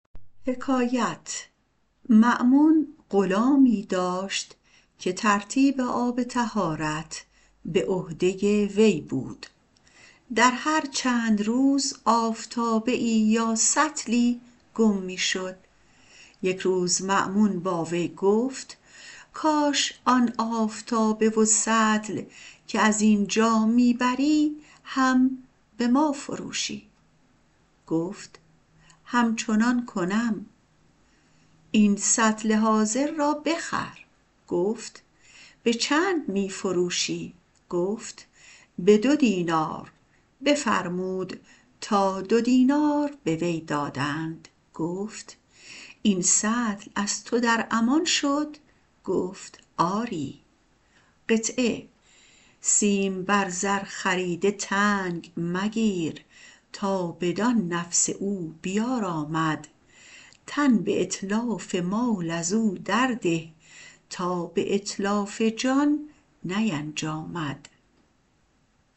مأمون غلامی داشت که ترتیب آب طهارت به عهده وی بود در هر چند روز آفتابه یا سطلی گم می شد یک روز مأمون با وی گفت کاش آن آفتابه و سطلی که از ما می بری هم به ما فروشی گفت همچنان کنم این سطل حاضر را بخر فرمود که به چند می فروشی گفت به دو دینار فرمود تا دو دینار به وی دادند پس گفت این سطل از تو در امان شد گفت آری سیم بر زر خریده تنگ مگیر تا بدان نفس او بیارامد تن به اتلاف مال ازو درده تا به اتلاف جان نینجامد